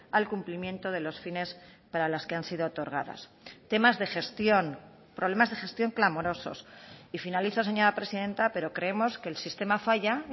al cumplimiento de los fines para las que han sido otorgadas temas de gestión problemas de gestión clamorosos y finalizo señora presidenta pero creemos que el sistema falla